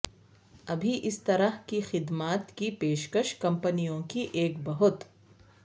ابھی اس طرح کی خدمات کی پیشکش کمپنیوں کی ایک بہت